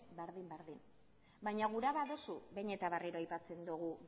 berdin berdin baina gura baduzu behin eta berriro aipatzen dugu